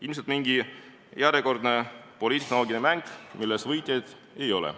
Ilmselt mingi järjekordne poliittehnoloogiline mäng, milles võitjaid ei ole.